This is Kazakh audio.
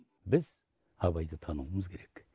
біз абайды тануымыз керек